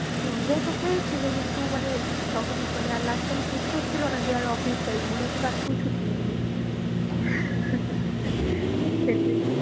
Enjoy তো হয়েছিল, কিন্তু মানে তখন মানে আর last time ইচ্ছে হচ্ছিলো না যে আর অফিস যাই। মনে হচ্ছিলো আজকেও ছুটি নিই আমি। সেটাই